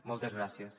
moltes gràcies